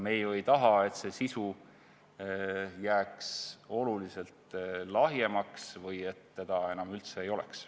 Me ju ei taha, et sisu jääks oluliselt lahjemaks või seda enam üldse ei oleks.